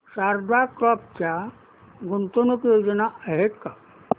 Sharda crop च्या गुंतवणूक योजना आहेत का